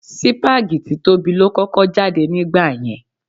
Sípágì títóbi ló kọ́kọ́ jáde nígbà yẹn.